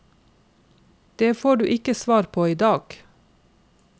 Det får du ikke svar på i dag.